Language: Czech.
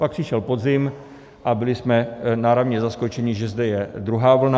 Pak přišel podzim a byli jsme náramně zaskočeni, že zde je druhá vlna.